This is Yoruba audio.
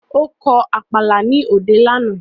Ó kọ Àpàlà ní òde lánàá